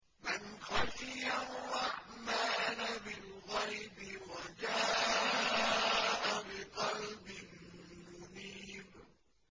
مَّنْ خَشِيَ الرَّحْمَٰنَ بِالْغَيْبِ وَجَاءَ بِقَلْبٍ مُّنِيبٍ